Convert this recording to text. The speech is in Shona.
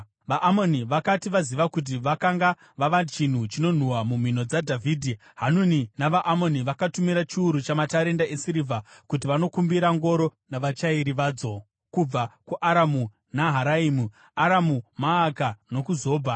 VaAmoni vakati vaziva kuti vakanga vava chinhu chinonhuhwa mumhino dzaDhavhidhi, Hanuni navaAmoni vakatumira chiuru chamatarenda esirivha kuti vanokumbira ngoro navachairi vadzo kubva kuAramu Naharaimu, Aramu Maaka nokuZobha.